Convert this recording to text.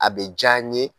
A bɛ diya n ye